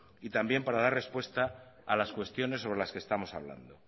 y también para dar respuesta a las cuestiones sobre las que estamos hablando